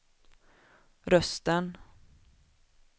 rösten